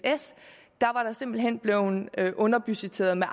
simpelt hen blevet underbudgetteret med